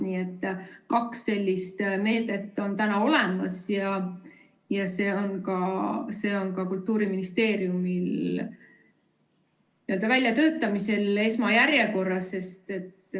Nii et kaks sellist meedet on täna olemas ja see on ka Kultuuriministeeriumil väljatöötamisel esmajärjekorras.